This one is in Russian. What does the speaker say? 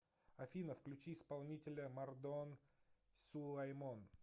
афина включи исполнителя мардон сулаймон